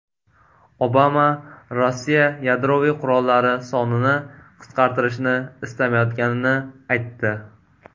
Obama Rossiya yadroviy qurollari sonini qisqartishni istamayotganini aytdi.